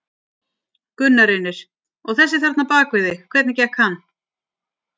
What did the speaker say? Gunnar Reynir: Og þessi þarna bak við þig, hvernig gekk hann?